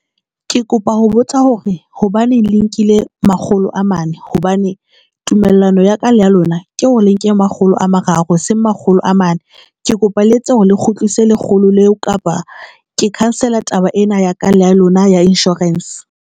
Ke kopa ho botsa hore hobaneng le nkile makgolo a mane hobane tumellano ya ka le ya lona ke o le nke makgolo a mararo e seng makgolo a mane ke kopa le etse hore le kgutlise lekgolo leo, kapa ke cancel-a taba ena ya ka la lona ya insurance.